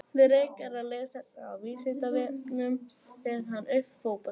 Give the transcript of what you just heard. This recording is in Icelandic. Frekara lesefni af Vísindavefnum: Hver fann upp fótboltann?